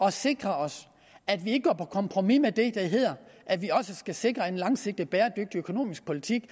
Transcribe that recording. at sikre os at vi ikke går på kompromis med det der hedder at vi også skal sikre en langsigtet bæredygtig økonomisk politik